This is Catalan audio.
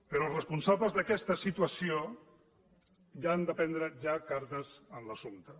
però els responsables d’aquesta situació han de prendre ja cartes en l’assumpte